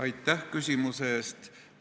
Aitäh küsimuse eest!